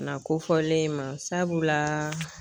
Na kofɔlen in ma sabulaa